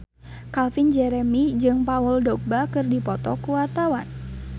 Calvin Jeremy jeung Paul Dogba keur dipoto ku wartawan